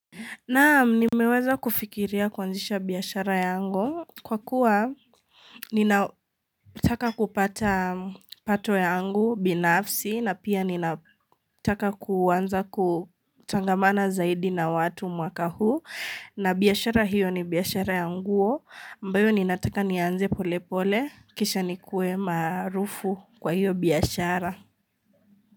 Naam nimeweza kufikiria kuanzisha biashara yangu kwa kuwa ninautaka kupata pato yangu binafsi na pia ninataka kuwanza kutangamana zaidi na watu mwaka huu na biashara hiyo ni biashara ya nguo ambayo ninataka nianze pole pole kisha nikuwe maarufu kwa hiyo biashara.